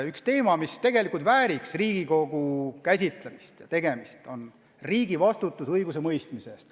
Üks teema, mis tegelikult vääriks Riigikogus käsitlemist, on riigi vastutus muu hulgas ka õigusemõistmise eest.